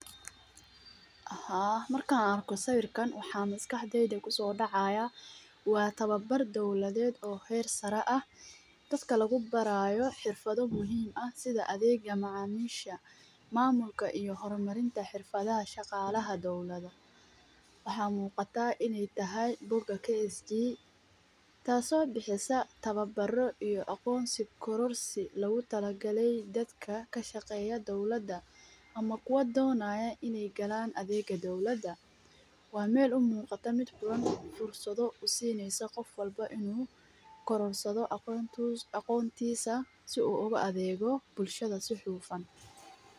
Haa, marka anarku sawirkan waxaa maskaxdeeda ku soo dhacaaya waa tababar dawladeed oo heer-sare ah dadka lagu barayo xirfado muhiim ah sida adeega macaamiisha, maamulka iyo horumarinta xirfada shaqaalaha dowlada. Waxaa muuqata inay tahay book KSG taasoo bixisa tababaro iyo aqoonsi kororsig lagu talagalay dadka ka shaqeeya dawladda ama kuwo doonaya inay galaan adeega dawladada. Waa meel u muuqata mid furan fursado u siineysa qof walbo inuu kororsado aqoontiisa si uu uga adeego bulshada si xuulfan.